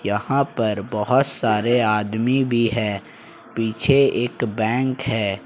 यहां पर बहोत सारे आदमी भी है पीछे एक बैंक है।